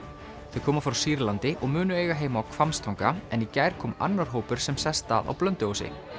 þau koma frá Sýrlandi og munu eiga heima á Hvammstanga en í gær kom annar hópur sem sest að á Blönduósi